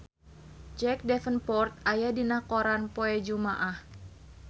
Jack Davenport aya dina koran poe Jumaah